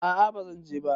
A'a bazan je ba